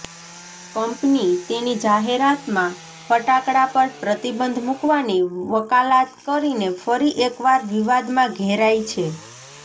company તેની જાહેરાતમાં ફટાકડા પર પ્રતિબંધ મૂકવાની વકાલાત કરીને ફરી એકવાર વિવાદમાં ઘેરાઇ છે